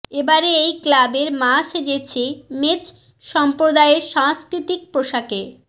এবারে এই ক্লাবের মা সেজেছে মেচ সম্প্রদায়ের সাংষ্কৃতিক পোশাকে